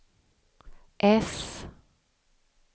äss